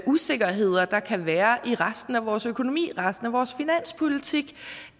usikkerheder der kan være i resten af vores økonomi resten af vores finanspolitik